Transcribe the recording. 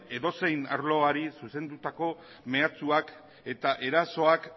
edozein arloari zuzendutako mehatxuak eta erasoak